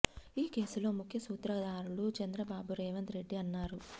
ఈ కేసులో ముఖ్య సూత్రధారులు చంద్రబాబు రేవంత్ రెడ్డి అన్నారు